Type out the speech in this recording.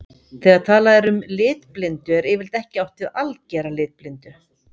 Þegar talað er um litblindu er yfirleitt ekki átt við að algera litblindu.